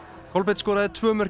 Kolbeinn skoraði tvö mörk